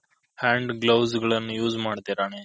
Hand glouse ಏನು use ಮಾದ್ದಿರನೆ.